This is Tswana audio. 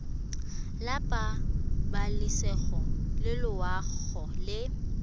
la pabalesego le loago e